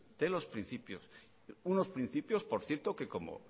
de los principios unos principios por cierto que como